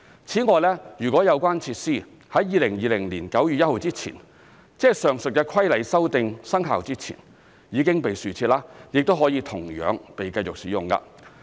此外，如有關設施在2020年9月1日前——即上述的規例修訂生效前——已被豎設，亦可同樣被繼續使用。